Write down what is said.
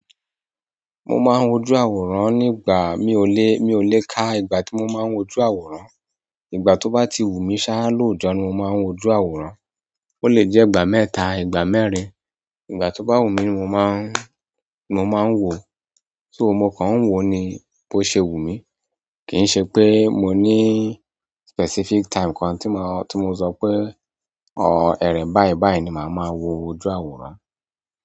Mo máa ń wojú àwòrán nígbà mi ò lé, mi ò lé ká ìgbà tí mo máa ń wojú àwòrán. Ìgbà tó bá ti wù mí ṣáá lóòójọ́ ni mo máa ń wojú àwòrán. Ó lè jẹ́ ìgbà mẹ́ta, ìgbà mẹ́rin. Ìgbà tó bá wù mí ni mo máa ń, ni mo máa ń wò ó. So mo kà ń wò ó ni bó ṣe wù mí. Kì í ṣe pé mo ní specific time kan tí mo, tí mo sọ pé, ẹ̀re n báyìí báyìí ni màá máa wo ojú àwòrán.